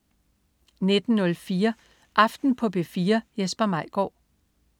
19.04 Aften på P4. Jesper Maigaard